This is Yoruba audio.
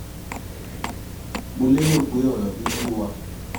mo lérò pé ọ̀rọ̀ mi yé wa